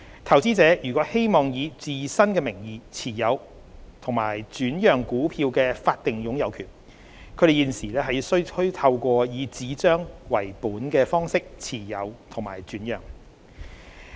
投資者如希望以自身名義持有及轉讓股票的法定擁有權，他們現時須透過以紙張為本的方式持有及轉讓。